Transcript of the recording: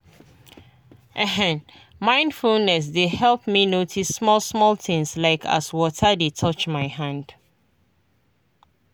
ehn mindfulness dey help me notice small-small things like as water dey touch my hand.